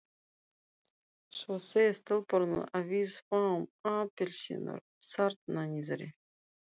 Svo segja stelpurnar að við fáum appelsínur þarna niðri.